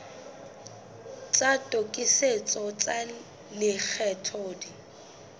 tsa tokisetso tsa lekgetho di